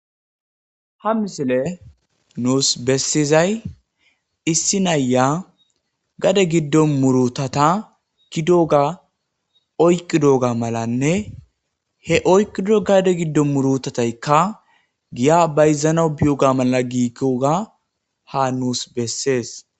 ha misile nuus bessizay issi nayya gade giddo murutata gidooga oyqqi dooga malanne he oyqido gade giddo murutataykka giya bayzanau biyoga mala giigoga ha nuus bessees